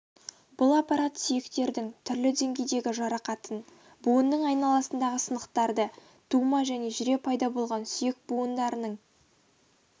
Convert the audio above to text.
бұл аппарат сүйектердің түрлі деңгейдегі жарақатын буынның айналасындағы сынықтарды тума және жүре пайда болған сүйек буындарының